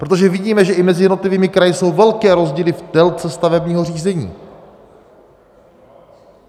Protože vidíme, že i mezi jednotlivými kraji jsou velké rozdíly v délce stavebního řízení.